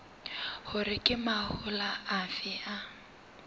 hore ke mahola afe a